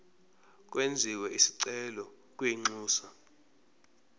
kwenziwe isicelo kwinxusa